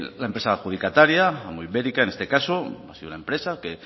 la empresa adjudicataria ambuibérica en este caso ha sido una empresa que